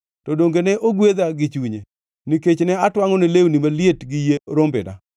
to donge ne ogwedha gi chunye nikech ne atwangʼone lewni maliet gi yie rombena.